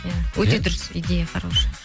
иә өте дұрыс идея хороший